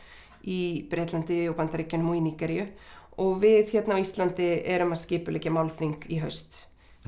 í Bretlandi og í Bandaríkjunum og í Nígeríu og við hérna á Íslandi erum að skipuleggja málþing í haust